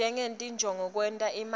ngetinjongo tekwenta imali